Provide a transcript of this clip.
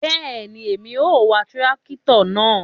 Bẹẹni, Èmí o wà tìràkitọ náà